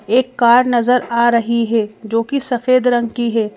एक कार नजर आ रही है जो कि सफेद रंग की है।